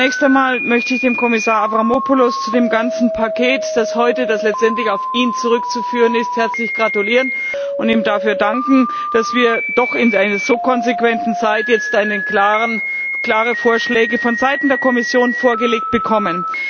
Zunächst einmal möchte ich dem Kommissar Avramopoulos zu dem ganzen Paket, das letztendlich auf ihn zurückzuführen ist, herzlich gratulieren und ihm dafür danken, dass wir doch in einer so konsequenten Zeit jetzt klare Vorschläge von Seiten der Kommission vorgelegt bekommen.